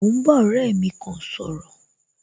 Mo ń bá ọ̀rẹ́ mi kan sọ̀rọ̀